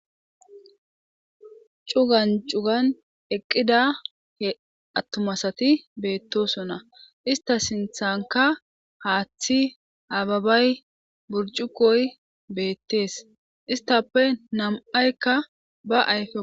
Cugan cugan eqida atuma asati bettosona.istta sinthankka haathi ababay, burccuqoy bettees.isttape nam'aykka ba ayfe bolla wothida.